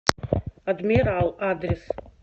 адмирал адрес